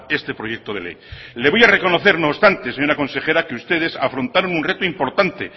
este proyecto de ley le voy a reconocer no obstante señora consejera que ustedes afrontaron un reto importante